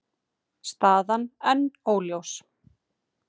Staðan enn óljós